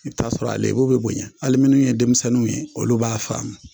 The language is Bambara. I bɛ t'a sɔrɔ a lebu bɛ bonya hali minnu ye denmisɛnninw ye olu b'a faamu.